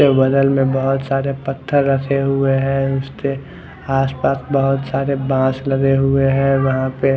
इसके बगल में बहोत सारे पत्थर रखे हुए है उसके आस पास बहोत सारे बाश लगे हुए है वहा पे--